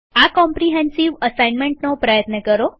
આ કોમ્રીહેન્સીવ અસાઇનમેન્ટનો પ્રયત્ન કરો